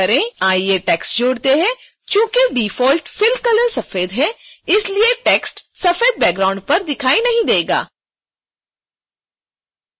आइए टेक्स्ट जोड़ते हैं चूंकि डिफ़ॉल्ट fill colour सफेद है इसलिए टेक्स्ट सफेद बैकग्राउंड पर दिखाई नहीं देगा